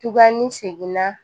Tugunni seginna